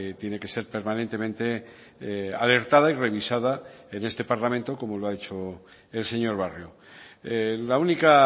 tiene que ser permanentemente alertada y revisada en este parlamento como lo ha hecho el señor barrio la única